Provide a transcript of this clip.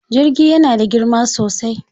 Jirgi yana da girma sosai.